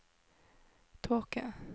tåke